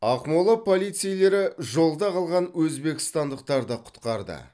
ақмола полицейлері жолда қалған өзбекстандықтарды құтқарды